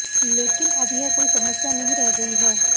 लेकिन अब यह कोई समस्या नहीं रह गई है